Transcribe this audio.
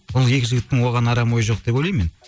ол екі жігіттің оған арам ойы жоқ деп ойлаймын мен